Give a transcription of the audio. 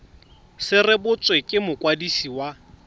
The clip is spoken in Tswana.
se rebotswe ke mokwadisi wa